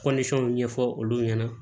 ɲɛfɔ olu ɲɛna